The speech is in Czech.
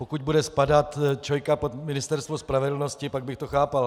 Pokud bude spadat ČOI pod Ministerstvo spravedlnosti, pak bych to chápal.